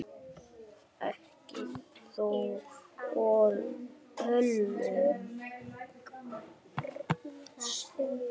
Ekki þó öllum.